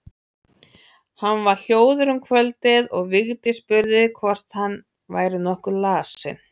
Hann var hljóður um kvöldið og Vigdís spurði hvort hann væri nokkuð lasinn.